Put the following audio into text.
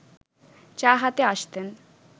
চা হাতে আসতেন